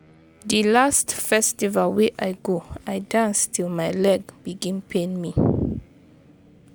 Di last festival wey I go, I dance till my leg begin pain me